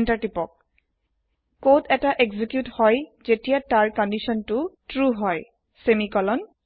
enter কোডৰ তুকুৰা execute হয় জেতিয়া তাৰ কন্দিচনতু ত্ৰু সেমিকলন হয়